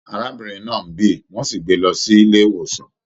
Arábìnrin náà n bí, wọn sì gbé lọ sílé ìwòsàn.